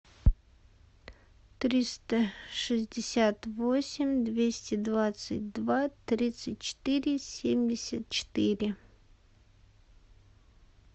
триста шестьдесят восемь двести двадцать два тридцать четыре семьдесят четыре